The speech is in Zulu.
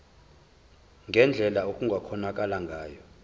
ngendlela okungakhonakala ngayo